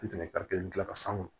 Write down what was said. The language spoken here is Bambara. dilan san kɔnɔ